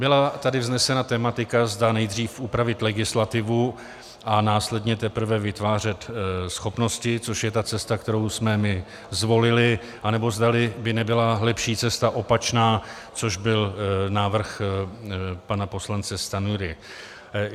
Byla tady vznesena tematika, zda nejdřív upravit legislativu a následně teprve vytvářet schopnosti, což je ta cesta, kterou jsme my zvolili, nebo zda by nebyla lepší cesta opačná, což byl návrh pana poslance Stanjury.